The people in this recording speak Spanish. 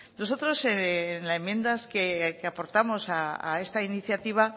nosotros en la enmienda que aportamos a esta iniciativa